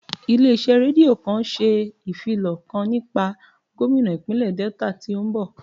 Ilé iṣẹ́ rédíò kan ṣe ìfilọ̀ kan nípa gómínà ìpínlè Delta tí ó ń bọ̀